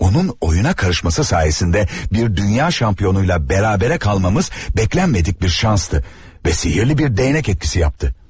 Onun oyuna karışması sayəsində bir dünya şampionuyla bərabərə qalmamız gözləmədik bir şansdı və sihirli bir dəyənək etkisi yapdı.